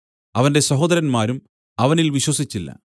അവന്റെ സഹോദരന്മാരും അവനിൽ വിശ്വസിച്ചില്ല